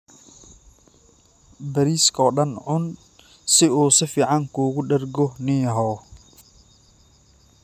Bariiska oo dhan cun si uu si fiican kuugu dhergo nin yahow.